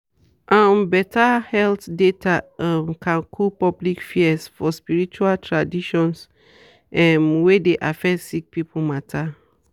um better health data um can cool public fears for spirtual traaditions um wey dey affect sick person matter.